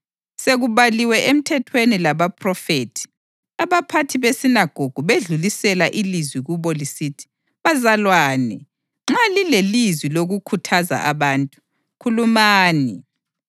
Sekubaliwe eMthethweni labaPhrofethi, abaphathi besinagogu bedlulisela ilizwi kubo lisithi, “Bazalwane, nxa lilelizwi lokukhuthaza abantu, khulumani.”